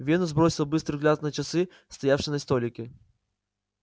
венус бросил быстрый взгляд на часы стоявшие на столике